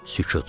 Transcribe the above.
Sükut.